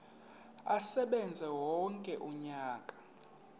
asebenze wonke umnyaka